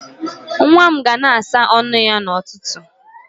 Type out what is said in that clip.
Nwa m ga na-asa ọnụ ya n'ụtụtụ.